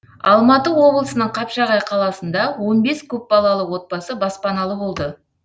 алматы облысының қапшағай қаласында он бес көпбалалы отбасы баспаналы болды